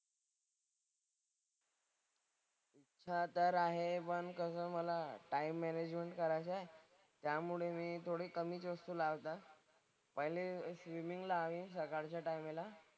इच्छा तर आहे पण कसं मला टाइम मॅनेजमेंट करायचंय त्यामुळे मी थोडी कमी गोष्ट लावतात. पहिले स्विमिंग लावीन सकाळच्या टायमेला.